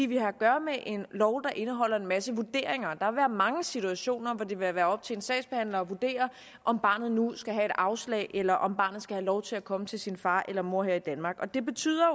vi har at gøre med en lov der indeholder en masse vurderinger der vil være mange situationer hvor det vil være op til en sagsbehandler at vurdere om barnet nu skal have et afslag eller om barnet skal have lov til at komme til sin far eller mor her i danmark og det betyder